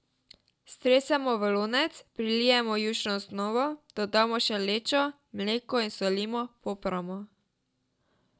Stresemo v lonec, prilijemo jušno osnovo, dodamo še lečo, mleko in solimo, popramo.